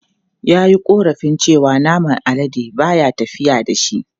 Ya yi korafin cewa naman alade ba ya tafiya da shi.